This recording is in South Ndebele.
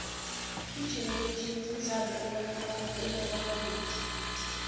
igenerations mdlalo obonakala kumabonakude